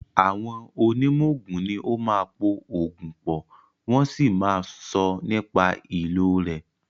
Àwọn onímọ̀ oògùn ní o máa ń po oògùn pọ̀, wọ́n sì máà ń sọ nípa ìlò rẹ̀.